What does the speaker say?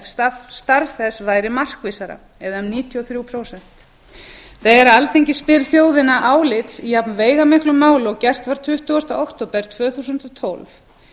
ef starf þess væri markvissara eða um níutíu og þrjú prósent þegar alþingi spyr þjóðina álits í jafnveigamiklu máli og gert var tuttugasta október tvö þúsund og tólf